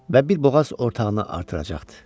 Və bir boğaz ortağını artıracaqdı.